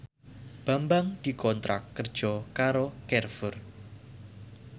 Bambang dikontrak kerja karo Carrefour